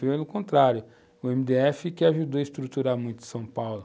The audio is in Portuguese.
Pelo contrário, o MDF que ajudou a estruturar muito São Paulo.